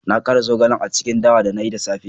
Na kara zogale a cikin dawa da na yi da safe